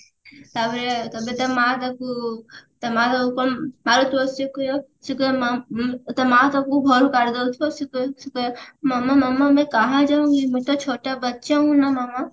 ତାପରେ ଏବେ ତା ମାଆ ତାକୁ ତା ମାଆ ତାକୁ କଣ ସିଏ କହିବ ମାଆ ଉଁ ତା ମାଆ ତାକୁ ଘରୁ କାଢିଦଉଥିବ ସିଏ କହିବ ସିଏ କହିବ